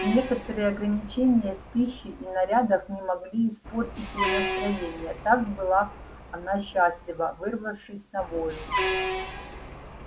некоторые ограничения в пище и нарядах не могли испортить ей настроения так была она счастлива вырвавшись на волю